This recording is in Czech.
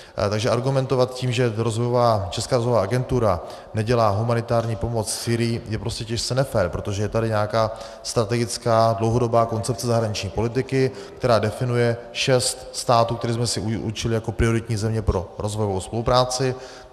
Takže argumentovat tím, že Česká rozvojová agentura nedělá humanitární pomoc Sýrii, je prostě těžce nefér, protože je tady nějaká strategická dlouhodobá koncepce zahraniční politiky, která definuje šest států, které jsme si určili jako prioritní země pro rozvojovou spolupráci.